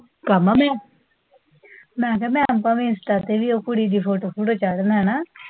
ਕਾਮਾ, ਮੈਂ ਕਿਹਾ ਆਪਾ ਮਿਸ ਕਰਤੀ, ਉਹ ਕੁੜੀ ਦੀ ਫੋਟੋ ਫੂਟੋ ਚੜ੍ਹ ਲੈਣਾ